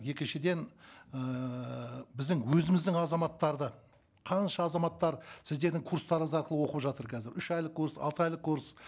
екіншіден ыыы біздің өзіміздің азаматтар да қанша азаматтар сіздердің курстарыңыз арқылы оқып жатыр қазір үш айлық курс алты айлық курс